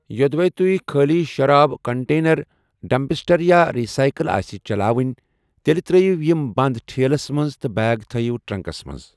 یوٚدوے تُۅہہِ خٲلی شراب کنٹینر ڈمپسٹر یا رٕسایکل آسہِ چلاوٕنۍ تیٚلہِ ترٲوِو یِم بند ٹھیلس منٛز تہٕ بیگ تھٲوِو ٹرنکس منٛز۔